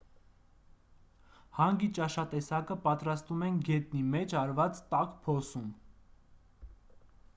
հանգի ճաշատեսակը պատրաստում են գետնի մեջ արված տաք փոսում